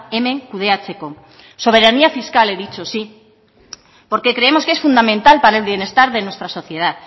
hemen kudeatzeko soberanía fiscal he dicho sí porque creemos que es fundamental para el bienestar de nuestra sociedad